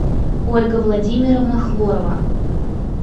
ольга владимировна хворова